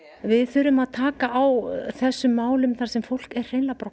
við þurfum að taka á þessum málum þar sem fólk er hreinlega bara